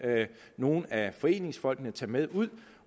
nogle af foreningsfolkene tage med